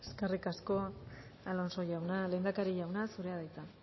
eskerrik asko alonso jauna lehendakari jauna zurea da hitza